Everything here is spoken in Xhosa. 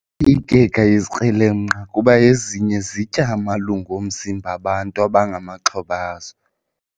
Ziyoyikeka izikrelemnqa kuba ezinye zitya amalungu omzimba bantu abangamaxhoba azo.